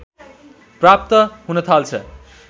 प्राप्त हुनथाल्छ